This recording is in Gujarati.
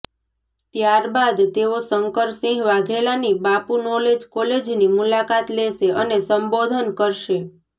ત્યારબાદ તેઓ શંકરસિંહ વાઘેલાની બાપુ નોલેજ કોલેજની મુલાકાત લેશે અને સંબોધન કરશે